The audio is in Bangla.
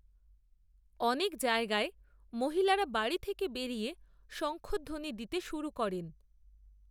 অনেক জায়গায় মহিলারা বাড়ি থেকে বেরিয়ে, শঙ্খধ্বনি দিতে শুরু করেন